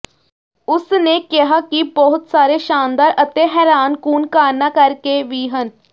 ਉਸ ਨੇ ਕਿਹਾ ਕਿ ਬਹੁਤ ਸਾਰੇ ਸ਼ਾਨਦਾਰ ਅਤੇ ਹੈਰਾਨਕੁੰਨ ਕਾਰਨਾਂ ਕਰਕੇ ਵੀ ਹਨ